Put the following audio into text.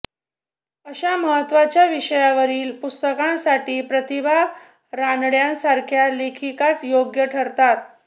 अशा महत्त्वाच्या विषयावरील पुस्तकासाठी प्रतिभा रानड्यांसारख्या लेखिकाच योग्य ठरतात